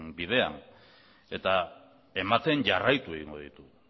bidean eta ematen jarraitu egingo ditu